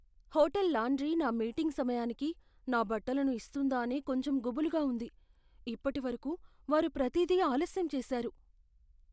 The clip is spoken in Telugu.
హోటల్ లాండ్రీ నా మీటింగ్ సమయానికి నా బట్టలను ఇస్తుందా అని కొంచెం గుబులుగా ఉంది. ఇప్పటివరకు, వారు ప్రతీది ఆలస్యం చేశారు.